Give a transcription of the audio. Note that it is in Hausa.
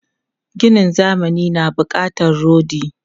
Ginin zamani na bukatar rodi.